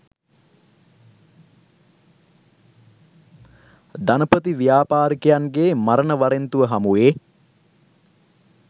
ධනපති ව්‍යාපාරිකයන්ගේ මරණ වරෙන්තුව හමුවේ